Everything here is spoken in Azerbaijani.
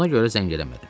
Ona görə zəng eləmədim.